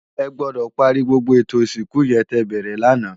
Ègbòdò pàri gbógbó étó isinkú yèn tè bèrè làná